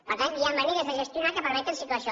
per tant hi ha maneres de gestionar que permeten situar això